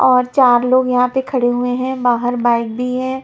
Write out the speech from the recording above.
और चार लोग यहां पे खड़े हुए हैं बाहर बाईक भी है।